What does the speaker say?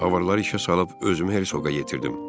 Avarları işə salıb özümü Hertsoga yetirdim.